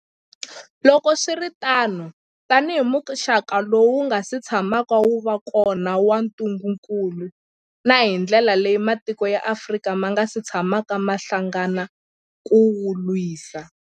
Loko swi ri tano, tanihi muxaka lowu wu nga si tshamaka wu va kona wa ntungukulu, na hi ndlela leyi matiko ya Afrika ma nga si tshamaka ma hlangana ku wu lwisa.